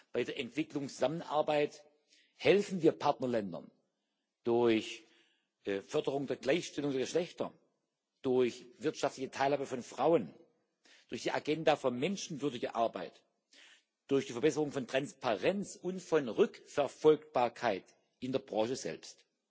Bei der Entwicklungszusammenarbeit helfen wir Partnerländern durch Förderung der Gleichstellung der Geschlechter, durch wirtschaftliche Teilhabe von Frauen, durch die Agenda für menschenwürdige Arbeit, durch die Verbesserung von Transparenz und von Rückverfolgbarkeit in der Branche selbst.